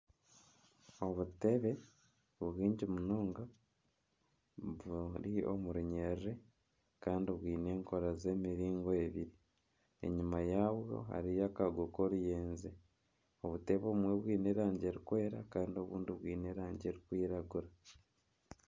Obuteebe nibwingi munonga buri omu runyerere kandi bwine enkora z'emiringo ebiri, enyima yabwo hariyo akago k'oruyenje, obutebe obumwe bwine erangi erikwera kandi obundi bwine erangi erikwirangura